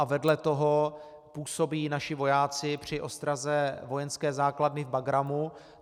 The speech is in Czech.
A vedle toho působí naši vojáci při ostraze vojenské základny v Bagrámu.